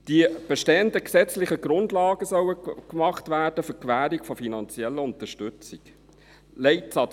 Die bestehenden gesetzlichen Grundlagen für die Gewährung von finanzieller Unterstützung sollen überarbeitet werden.